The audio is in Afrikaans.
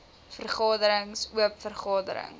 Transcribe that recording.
vergaderings oop vergaderings